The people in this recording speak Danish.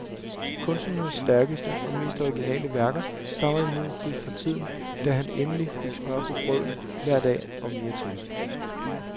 Kunstnerens stærkeste og mest originale værker stammer imidlertid fra tiden, da han endelig fik smør på brødet hver dag og mere til.